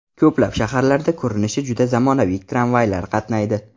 Ko‘plab shaharlarda ko‘rinishi juda zamonaviy tramvaylar qatnaydi.